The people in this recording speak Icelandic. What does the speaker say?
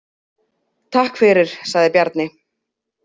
Takk fyrir, sagði Bjarni.